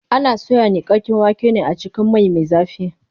Ana soya niƙaƙƙen waken ne a cikin mai me zafi.